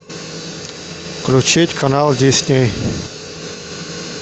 включить канал дисней